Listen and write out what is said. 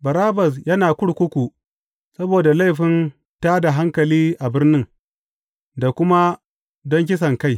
Barabbas yana kurkuku saboda laifin tā da hankali a birnin, da kuma don kisankai.